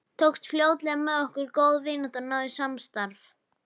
Tókst fljótlega með okkur góð vinátta og náið samstarf.